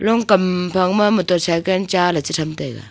long kam phang ma motor cycle cha ley che tham taiga.